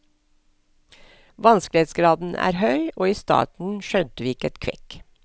Vanskelighetsgraden er er høy og i starten skjønte vi ikke et kvekk.